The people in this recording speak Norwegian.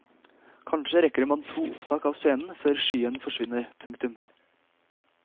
Kanskje rekker man to opptak av scenen før skyen forsvinner. punktum